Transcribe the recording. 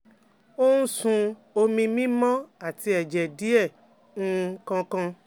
O ń sun omi mímọ́ àti ẹ̀jẹ̀ díẹ̀ nígbà um kan kan